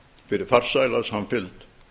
fyrir farsæla samfylgd